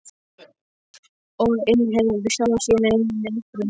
Og innheimtir sjálfur sína eigin reikninga.